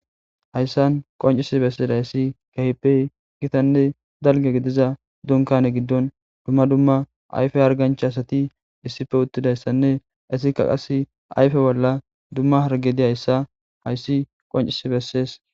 Hayssan qonccissi bessizayssi kehippe gittane dalgga giidiza dunkkane giidon dumma dumma ayffe hargancha assati issippe uttidayssane hessika qasse ayffe bolla dumma harggey diizayssa hayssi qonccisi besses.